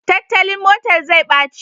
Tattalin motar zai ɓaci